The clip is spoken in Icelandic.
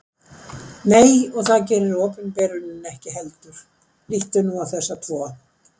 Nei, og það gerir opinberunin ekki heldur. líttu nú á þessa tvo.